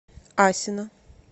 асино